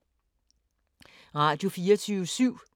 Radio24syv